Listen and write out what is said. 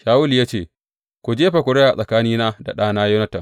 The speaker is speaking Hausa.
Shawulu ya ce, Ku jefa ƙuri’a tsakanina da ɗana Yonatan.